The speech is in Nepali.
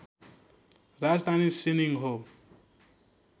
राजधानी सिनिङ हो